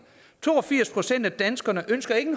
to og firs procent af danskerne ønsker ikke